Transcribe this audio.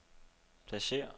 pladsér